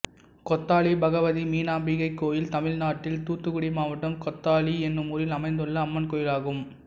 கொத்தாளி பகவதி மீனாம்பிகை கோயில் தமிழ்நாட்டில் தூத்துக்குடி மாவட்டம் கொத்தாளி என்னும் ஊரில் அமைந்துள்ள அம்மன் கோயிலாகும்